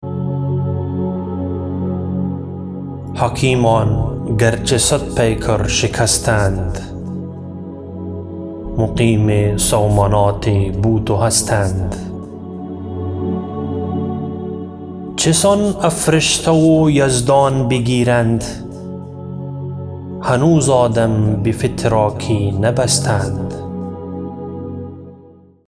حکیمان گرچه صد پیکر شکستند مقیم سومنات بود و هستند چسان افرشته و یزدان بگیرند هنوز آدم به فتراکی نبستند